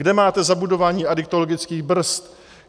Kde máte zabudování adiktologických brzd?